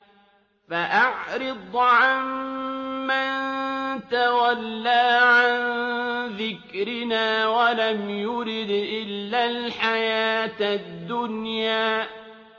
فَأَعْرِضْ عَن مَّن تَوَلَّىٰ عَن ذِكْرِنَا وَلَمْ يُرِدْ إِلَّا الْحَيَاةَ الدُّنْيَا